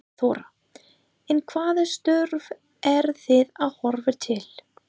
Þóra: En hvaða störf eru þið að horfa til?